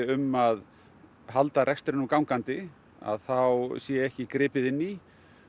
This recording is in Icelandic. um að halda rekstrinum gangandi að þá sé ekki gripið inn í